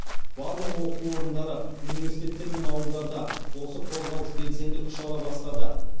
барлық оқу орындары университеттер ауылдарда осы қозғалыс белсенді күш ала бастады